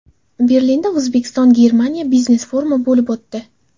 Berlinda O‘zbekiston-Germaniya biznes-forumi bo‘lib o‘tdi.